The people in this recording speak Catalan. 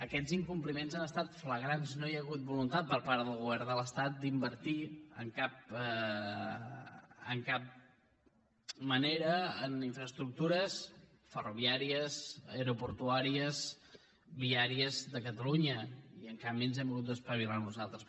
aquests incompliments han estat flagrants no hi ha hagut voluntat per part del govern de l’estat d’invertir de cap manera en infraestructures ferroviàries aeroportuàries viàries de catalunya i en canvi ens hem hagut d’espavilar nosaltres